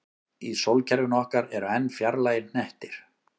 Í sólkerfinu okkar eru enn fjarlægari hnettir.